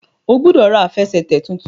o gbódò rà Àfẹsẹ̀tẹ̀ títún!